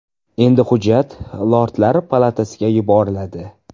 Endi hujjat Lordlar palatasiga yuboriladi.